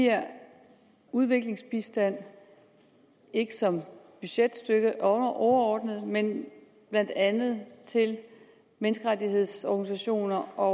giver udviklingsbistand ikke som budgetstøtte overordnet men blandt andet til menneskerettighedsorganisationer og